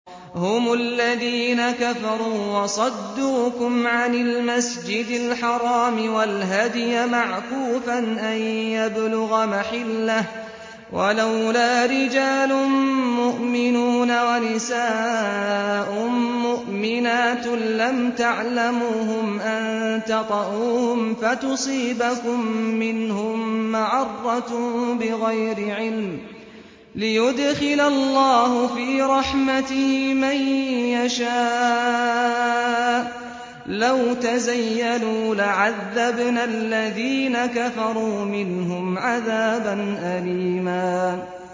هُمُ الَّذِينَ كَفَرُوا وَصَدُّوكُمْ عَنِ الْمَسْجِدِ الْحَرَامِ وَالْهَدْيَ مَعْكُوفًا أَن يَبْلُغَ مَحِلَّهُ ۚ وَلَوْلَا رِجَالٌ مُّؤْمِنُونَ وَنِسَاءٌ مُّؤْمِنَاتٌ لَّمْ تَعْلَمُوهُمْ أَن تَطَئُوهُمْ فَتُصِيبَكُم مِّنْهُم مَّعَرَّةٌ بِغَيْرِ عِلْمٍ ۖ لِّيُدْخِلَ اللَّهُ فِي رَحْمَتِهِ مَن يَشَاءُ ۚ لَوْ تَزَيَّلُوا لَعَذَّبْنَا الَّذِينَ كَفَرُوا مِنْهُمْ عَذَابًا أَلِيمًا